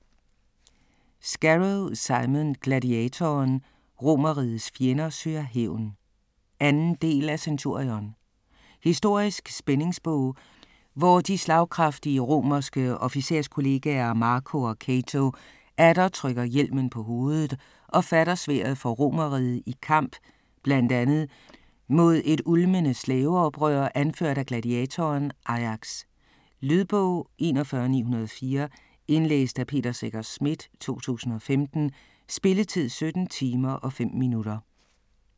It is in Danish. Scarrow, Simon: Gladiatoren: Romerrigets fjender søger hævn 2. del af Centurion. Historisk spændingsbog, hvor de slagkraftige romerske officerskollegaer, Marco og Cato, atter trykker hjelmen på hovedet og fatter sværdet for Romerriget i kamp bl.a. mod et ulmende slaveoprør anført af gladiatoren Ajax. Lydbog 41904 Indlæst af Peter Secher Schmidt, 2015. Spilletid: 17 timer, 5 minutter.